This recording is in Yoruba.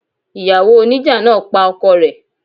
Ìyàwó oníjà náà pa ọkọ rẹ̀.